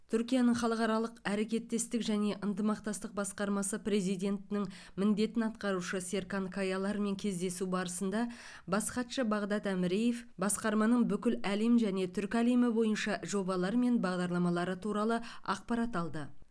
түркияның халықаралық әрекеттестік және ынтымақтастық басқармасы президентінің міндетін атқарушы серкан каялармен кездесу барысында бас хатшы бағдад әміреев басқарманың бүкіл әлем және түркі әлемі бойынша жобалар мен бағдарламалары туралы ақпарат алды